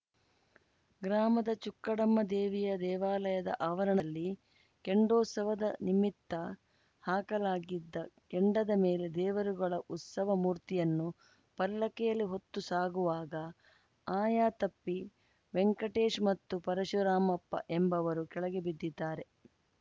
ಗ್ರಾಮದ ಚುಕ್ಕಡಮ್ಮ ದೇವಿಯ ದೇವಾಲಯದ ಆವರಣದಲ್ಲಿ ಕೆಂಡೋತ್ಸವದ ನಿಮಿತ್ತ ಹಾಕಲಾಗಿದ್ದ ಕೆಂಡದ ಮೇಲೆ ದೇವರುಗಳ ಉತ್ಸವ ಮೂರ್ತಿಯನ್ನುಪಲ್ಲಕ್ಕಿಯಲ್ಲಿ ಹೊತ್ತು ಸಾಗುವಾಗ ಆಯತಪ್ಪಿ ವೆಂಟಕೇಶ್‌ ಮತ್ತು ಪರಶುರಾಮಪ್ಪ ಎಂಬುವರು ಕೆಳಗೆ ಬಿದ್ದಿದ್ದಾರೆ